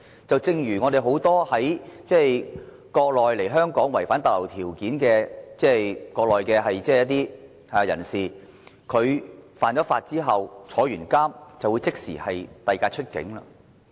正如很多國內來港、違反逗留條件的人士，在犯法及服刑之後就會被即時遞解出境。